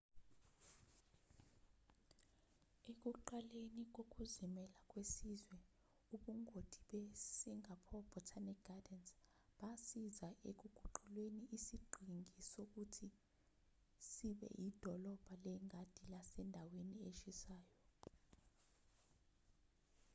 ekuqaleni kokuzimela kwesizwe ubungoti be-singapore botanic gardens basiza ekuguquleni isiqhingi ukuthi sibe idolobha lengadi lasendaweni eshisayo